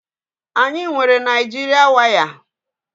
Anyị nwere Naijịrịa waya